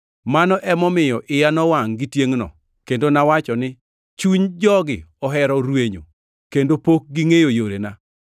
Mano emomiyo iya nowangʼ gi tiengʼno kendo nawacho ni, ‘Chuny jogi ohero rwenyo, kendo pok gingʼeyo yorena.’